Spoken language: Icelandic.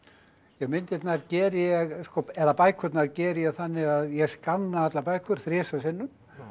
myndirnar geri ég eða bækurnar geri ég þannig að ég skanna allar bækur þrisvar sinnum